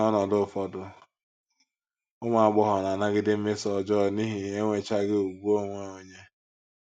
N’ọnọdụ ụfọdụ, ụmụ agbọghọ na - anagide mmeso ọjọọ n’ihi enwechaghị ùgwù onwe onye.